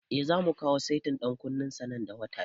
Eh, zamu kawo setin ɗan kunnen sa nan da wata biyu